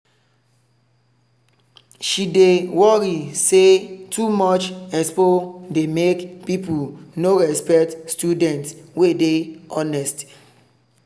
she dey worry say too much expo dey make people no respect the students wey dey honest.